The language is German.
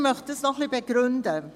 Ich möchte dies ein wenig begründen: